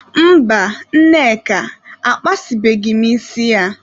Mba, Nneka akpasịbeghị isi ya.